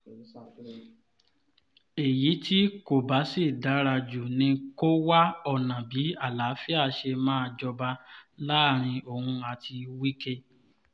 èyí tí kò bá sì dára jù ni kó wá ọ̀nà bí àlàáfíà ṣe máa jọba láàrin òun àti wike